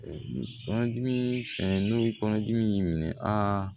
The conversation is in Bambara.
Kɔnɔdimi fɛn n'o ye kɔnɔdimi in minɛ aa